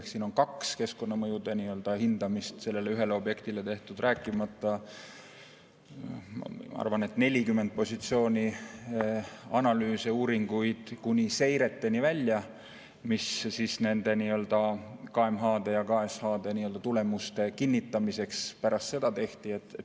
Ehk siin on kaks keskkonnamõjude hindamist sellele ühele objektile tehtud, rääkimata, ma arvan, 40 positsiooni analüüse, uuringuid kuni seireteni välja, mis nende KMH-de ja KSH‑de tulemuste kinnitamiseks pärast seda tehti.